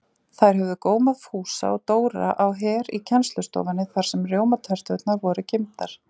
Þær höfðu gómað Fúsa og Dóra á Her í kennslustofunni þar sem rjómaterturnar voru geymdar.